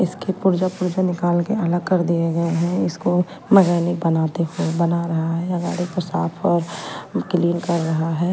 इसकी पूर्जा पूर्जा निकाल के अलग कर दिए गए हैं इसको मेकैनिक बनाते हुए बना रहा है गाड़ी को साफ और क्लीन कर रहा है .